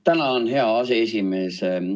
Tänan, hea aseesimees!